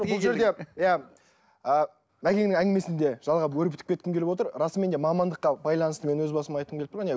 бұл жерде иә ы мәкеңнің әңмесін де жалғап өрбітіп кеткім келіп отыр расымен де мамандыққа байланысты мен өз басым айтқым келіп тұр